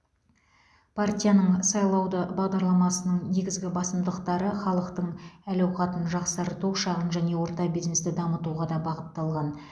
партияның сайлауды бағдарламасының негізгі басымдықтары халықтың әл ауқатын жақсарту шағын және орта бизнесті дамытуға да бағытталған